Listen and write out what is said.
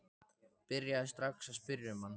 Byrjaði strax að spyrja um þig.